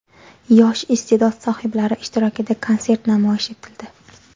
Yosh iste’dod sohiblari ishtirokida konsert namoyish etildi.